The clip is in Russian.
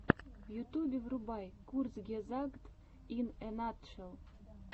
в ютюбе врубай курцгезагт ин э натшел